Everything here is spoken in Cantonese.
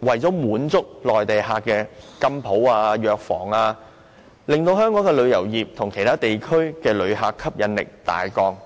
為滿足內地旅客而開設的金鋪和藥房，使香港對其他地區的旅客的吸引力大降。